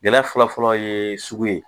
Gɛlɛya fɔlɔ-fɔlɔ ye sugu ye